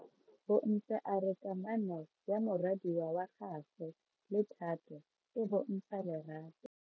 Bontle a re kamano ya morwadi wa gagwe le Thato e bontsha lerato.